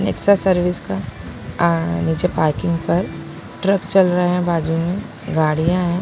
Nexa service का आँ नीचे पार्किंग पर ट्रक चल रहे हैं बाजू में गाड़ियां हैं।